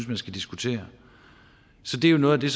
man skal diskutere det er noget af det